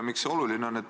Miks see oluline on?